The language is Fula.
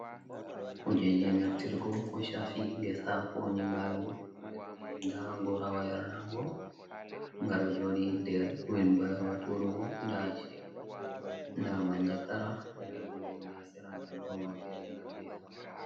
Kujeji naftirgo ko shafi ngesa ko nyiɓalo, nder man nda gorawa yarnargo ngaɗo joɗi nder wilbairo turugo, nda shevur nda manjagara nda gene ha sera nda durowa fere nda drom ha ɓawo.